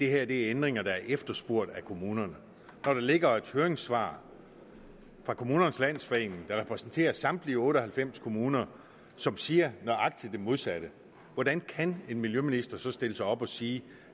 er ændringer der er efterspurgt af kommunerne der ligger et høringssvar fra kommunernes landsforening der repræsenterer samtlige otte og halvfems kommuner som siger nøjagtig det modsatte hvordan kan en miljøminister så stille sig op og sige